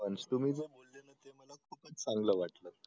तुम्ही जे चांगलं वाटलं